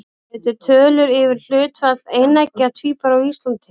Eru til tölur yfir hlutfall eineggja tvíbura á Íslandi?